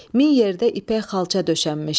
Min yerdə ipək xalça döşənmişdi.